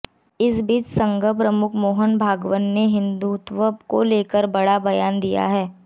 इसी बीच संघ प्रमुख मोहन भागवत ने हिंदुत्व को लेकर बड़ा बयान दिया है